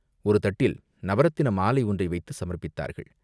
ஒரு தட்டில் நவரத்தின மாலை ஒன்றை வைத்துச் சமர்ப்பித்தார்கள்.